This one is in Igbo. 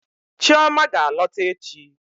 Chioma ga-alọta echi.